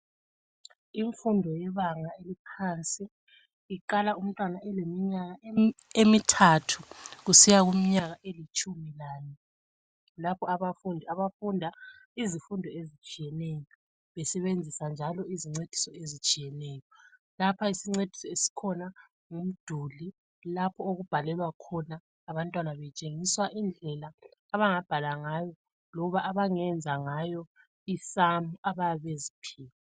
imfundo yebanga eliphansi iqala umntwana eleminyaka emithathu kusiya kuminyaka elitshumi lane lapho abafundi befunda izifundo ezitsheyeneyo besebenzisa njalo izincediso ezitshiyeneyo ,lapha isincediso esikhona ngumduli lapho okubhalelwa khona lapho abantwana betshengiswa indlela abangabhala ngayo loba abangenza ngayo i samu abayabe beziphiwe